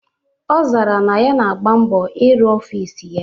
Ọ zara na ya na-agba mbọ ịrụ ọfịs ya.